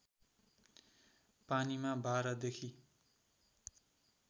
पानीमा १२ देखि